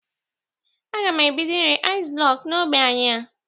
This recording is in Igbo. Aga m ebido ire aịz blọkụ n'ogbe anyị a.